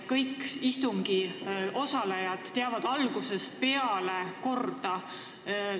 Kõik istungil osalejad on algusest peale korda teadnud.